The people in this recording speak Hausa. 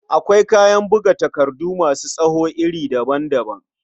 Akwai kayan buga takardu masu tsawo iri daban-daban.